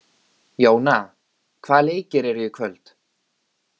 Jóna, hvaða leikir eru í kvöld?